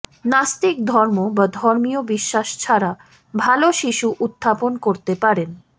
নাস্তিক ধর্ম বা ধর্মীয় বিশ্বাস ছাড়া ভাল শিশু উত্থাপন করতে পারেন